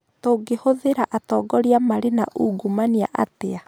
tũgĩthuura atongoria marĩ na ungumania atĩa